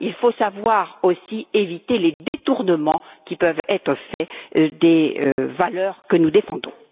Il faut savoir aussi éviter les détournements qui peuvent être faits des valeurs que nous défendons.